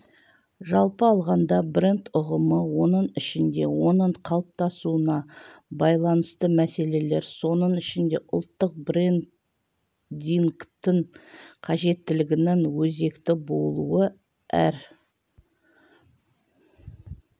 жалпы алғанда бренд ұғымы оның ішінде оның қалыптасуына байланысты мәселелер соның ішінде ұлттық брендингтің қажеттілігінің өзекті болуы әр